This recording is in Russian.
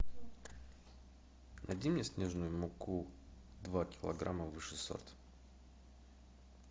найди мне снежную муку два килограмма высший сорт